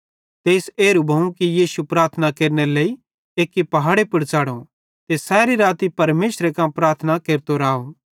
तेइस एरू भोवं कि यीशु प्रार्थना केरनेरे लेइ एक्की पहाड़े पुड़ च़ढ़ो ते सैरी राती परमेशरे कां प्रार्थना केरतो राव